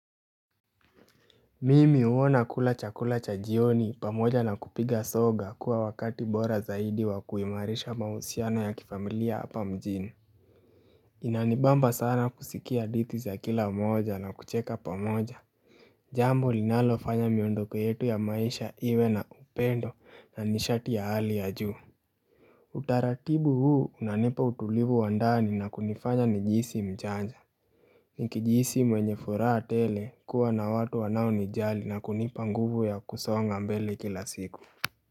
Mimi huwa nakula chakula cha jioni pamoja na kupiga soga kwa wakati bora zaidi wa kuimarisha mahusiano ya kifamilia hapa mjini Inanibamba sana kusikia hadithi za kila mmoja na kucheka pamoja Jambo linalo fanya miondoko yetu ya maisha iwe na upendo na mishati ya hali ya juu Utaratibu huu unanipa utulivu wa ndani na kunifanya ni jihisi mjanja Nikijihisi mwenye furaha tele kuwa na watu wanao nijali na kunipa nguvu ya kusonga mbele kila siku.